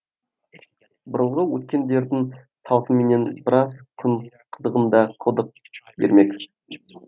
бұрынғы өткендердің салтыменен біраз күн қызығыңды қылдым ермек